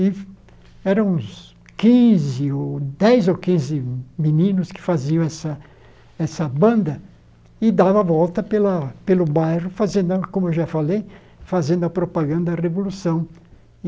E eram uns quinze dez ou quinze meninos que faziam essa essa banda e davam a volta pela pelo bairro, como eu já falei, fazendo a propaganda da Revolução.